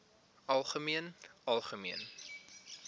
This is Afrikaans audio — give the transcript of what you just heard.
algemeen algemeen